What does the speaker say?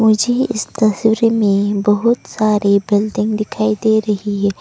मुझे इस तस्वीर में बहुत सारे बिल्डिंग दिखाई दे रही है।